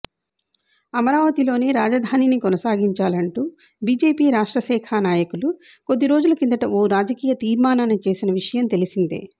అమరావతిలోనే రాజధానిని కొనసాగించాలంటూ బీజేపీ రాష్ట్రశాఖ నాయకులు కొద్ది రోజుల కిందటే ఓ రాజకీయ తీర్మానాన్ని చేసిన విషయం తెలిసిందే